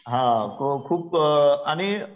हा खूप अ आणि,